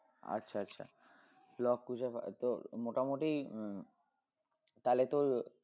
আচ্ছা আচ্ছা লব কুশের তো মোটামোটি উম তালে তোর